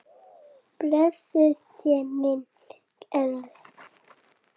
Blessuð sé minning Eiðs.